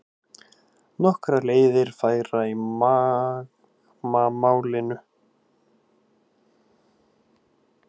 Nokkrar leiðir færar í Magma málinu